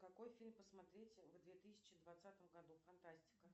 какой фильм посмотреть в две тысячи двадцатом году фантастика